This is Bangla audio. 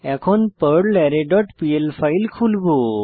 এখন পারলারে ডট পিএল ফাইল খুলবো